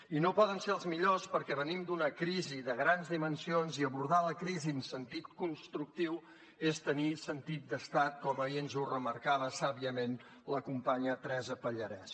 i no poden ser els millors perquè venim d’una crisi de grans dimensions i abordar la crisi en sentit constructiu és tenir sentit d’estat com ahir ens ho remarcava sàviament la companya teresa pallarès